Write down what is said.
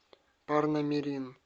парнамирин